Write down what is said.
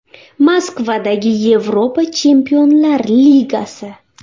Moskvadagi Yevropa Chempionlar Ligasi.